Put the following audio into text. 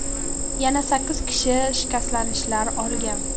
Yana sakkiz kishi shikastlanishlar olgan.